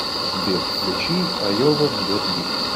сбер включи айова бьет бит